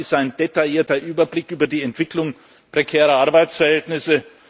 Gefordert ist ein detaillierter Überblick über die Entwicklung prekärer Arbeitsverhältnisse.